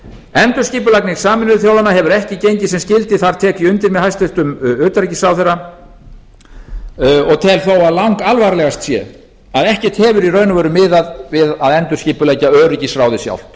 endurskipulagning sameinuðu þjóðanna hefur ekki gengið sem skyldi þar tek ég undir með hæstvirtum utanríkisráðherra og tel þó að langalvarlegast sé að ekkert hefur í raun og veru miðað við að endurskipuleggja öryggisráðið sjálft